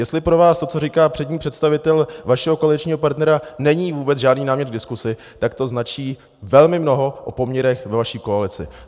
Jestli pro vás to, co říká přední představitel vašeho koaličního partnera, není vůbec žádný námět k diskusi, tak to značí velmi mnoho o poměrech ve vaší koalici.